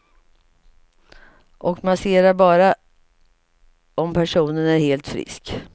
Och massera bara om personen är helt frisk.